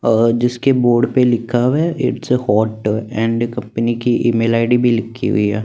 और जिसके बोर्ड पर लिखा हुआ है it's a hotdog and company की ईमेल आई_डी भी लिखी हुई है।